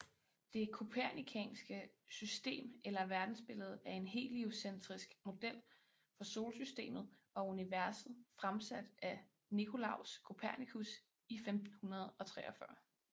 Det kopernikanske system eller verdensbillede er en heliocentrisk model for Solsystemet og universet fremsat af Nicolaus Kopernikus i 1543